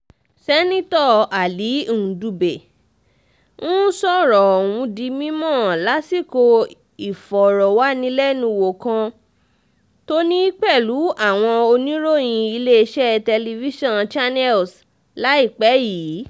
seneto ali ndube um sọ̀rọ̀ ọ̀hún di mímọ́ um lásìkò ìfọ̀rọ̀wánilẹ́nuwò kan tó ní pẹ̀lú àwọn oníròyìn iléeṣẹ́ tẹlifíṣàn channels láìpẹ́ yìí